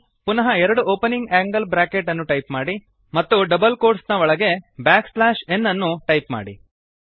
ಪುನಃ ಎರಡು opening angle bracket ಅನ್ನು ಟೈಪ್ ಮಾಡಿ ಮತ್ತು ಡಬಲ್ ಕೋಟ್ಸ್ ನ ಒಳಗೆ ಬ್ಯಾಕ್ ಸ್ಲ್ಯಾಶ್ ಎನ್ ಅನ್ನು ಟೈಪ್ ಮಾಡಿ